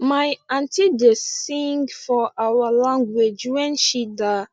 my aunty da sing for our language wen she da